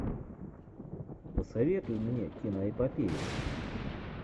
посоветуй мне киноэпопею